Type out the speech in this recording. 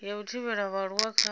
ya u thivhela vhaaluwa kha